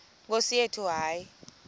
nkosi yethu hayi